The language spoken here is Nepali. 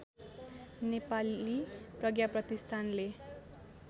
नेपाली प्रज्ञा प्रतिष्ठानले